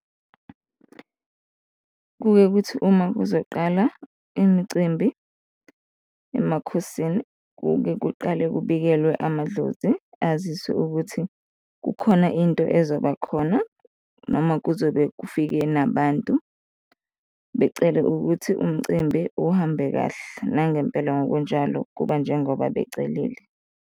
Kuke kuthi uma kuzoqala imicimbi emakhosini, kuke kuqale kubikelwe amadlozi, aziswe ukuthi kukhona into ezoba khona noma kuzobe kufike nabantu, becele ukuthi umcimbi uhambe kahle, nangempela ngokunjalo kuba njengoba becelile.